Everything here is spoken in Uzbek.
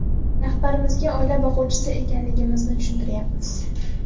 Rahbarimizga oila boquvchisi ekanligimizni tushuntiryapmiz.